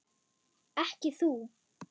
Ekki þú.